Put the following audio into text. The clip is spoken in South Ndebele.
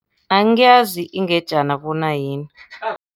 Angiyazi ingejana bona yini.